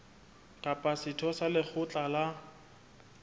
kapa setho sa lekgotla la